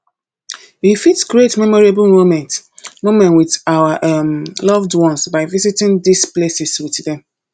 we fit create memorable moments moments with our um loved ones by visiting these places with dem